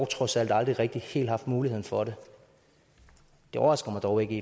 trods alt aldrig rigtig helt haft muligheden for det det overrasker mig dog ikke